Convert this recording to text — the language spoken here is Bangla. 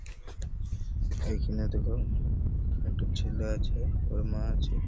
এই খানে দেখো একটা ছেলে আছে ওর মা আছে--